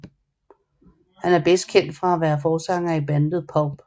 Han er bedst kendt for at være forsanger i bandet Pulp